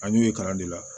A y'u ye kalan de la